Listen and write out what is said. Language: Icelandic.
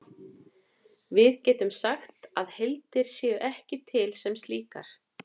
Við getum sagt að heildir séu ekki til sem slíkar.